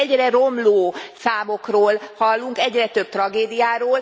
Mert csak egyre romló számokról hallunk, egyre több tragédiáról.